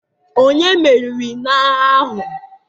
Ònye meriri n'agha ahụ?